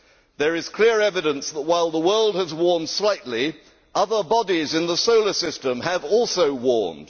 There is clear evidence that, while the world has warmed slightly, other bodies in the solar system have also warmed.